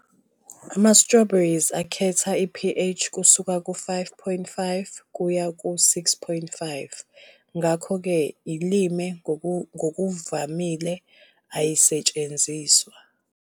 Ama-Strawberries akhetha i-pH kusuka ku-5.5 kuye ku-6.5, ngakho-ke i-lime ngokuvamile ayisetshenziswa.